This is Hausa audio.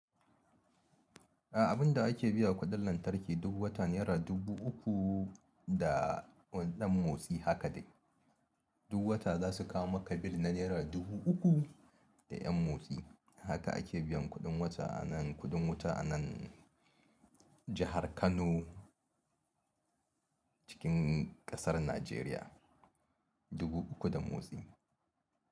A abunda ake biya kuɗin lantarki duk wata nera dubu uku da ɗan motsi haka dai. Duk wata za su kawo maka bil na nera dubu uku da ƴan motsi. Haka ake biyan kuɗin wata a nan kuɗin wuta a nan jahar Kano cikin ƙasar Najeriya dubu uku da motsi.